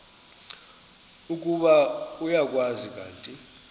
ukuba uyakwazi kanti